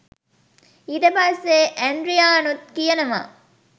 ඊට පස්සේ ඇන්ඩ්‍රියානුත් කියනවා